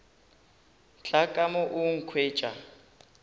tla ka mo a nkhwetša